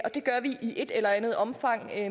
det gør vi i et eller andet omfang